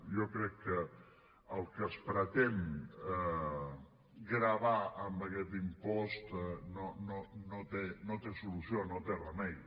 jo crec que el que es pretén gravar amb aquest impost no té solució no té remei